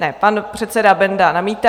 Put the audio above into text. Ne, pan předseda Benda namítá.